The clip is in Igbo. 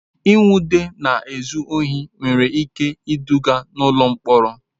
Ịnwụde na-ezu ohi nwere ike iduga n'ụlọ mkpọrọ.